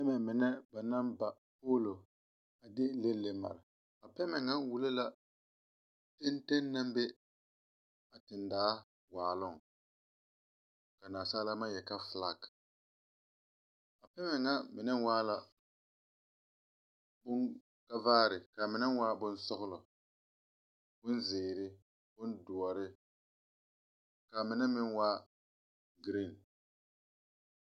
Pɛmɛ mine ba naŋ ba polo a de leŋe leŋe a mare, a pɛmɛ ŋa wullo la a teŋ teŋ naŋ wullo a tendaa waaloŋ, ka nasaalaa maŋ yeli ka flag. A pɛmɛ ŋa mine waa la kavaare, ka mine waa bonsɔglɔɔ, bonzeɛre, bondɔɔre, kaa mine meŋ waa bon green.